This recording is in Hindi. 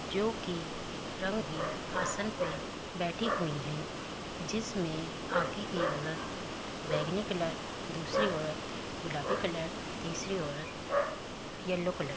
जो कि रंगी आसन पे बैठी हुई है जिसमें बाकी की औरत बैगनी कलर दूसरी औरत गुलाबी कलर तीसरी औरत येलो कलर --